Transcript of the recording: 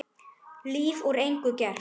Líf úr engu gert.